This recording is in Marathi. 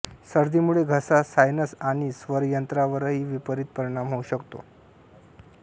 सर्दीमुळे घसा सायनस आणि स्वरयंत्रावरही विपरीत परिणाम होऊ शकतो